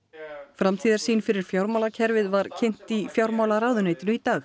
framtíðarsýn fyrir fjármálakerfið var kynnt í fjármálaráðuneytinu í dag